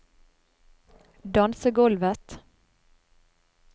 dansegulvet